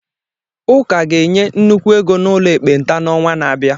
Ụka ga-enye nnukwu ego n'ụlọ ekpenta n'ọnwa na-abịa.